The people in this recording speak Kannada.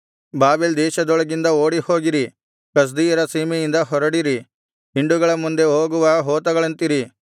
ಬಾಬೆಲ್ ದೇಶದೊಳಗಿಂದ ಓಡಿಹೋಗಿರಿ ಕಸ್ದೀಯರ ಸೀಮೆಯಿಂದ ಹೊರಡಿರಿ ಹಿಂಡುಗಳ ಮುಂದೆ ಹೋಗುವ ಹೋತಗಳಂತಿರಿ